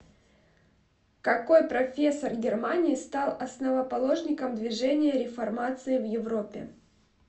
какой профессор германии стал основоположником движения реформации в европе